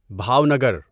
Bhavnagar